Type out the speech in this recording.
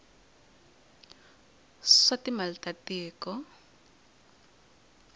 ya swa timali ta tiko